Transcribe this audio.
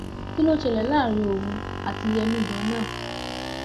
kí ló ṣẹlẹ láàrin òun àti yẹmi ganan